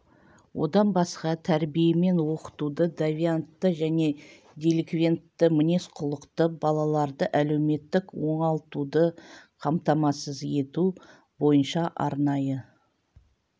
одан басқа тәрбие мен оқытуды девиантты және деликвентті мінез-құлықты балаларды әлеуметтік оңалтуды қамтамасыз ету бойынша арнайы